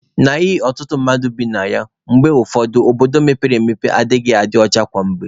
N'ihi ọtụtụ mmadụ nọ na ya, mgbe ụfọdụ obodo mepere emepe anaghị adị ọcha kwa mgbe